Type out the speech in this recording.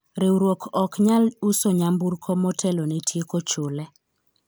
riwruok ok nyal uso nyamburko motelo ne tieko chule